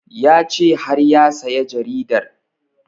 Ya ce har ya saya jaridar